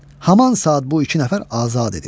Haman saat bu iki nəfər azad edildi.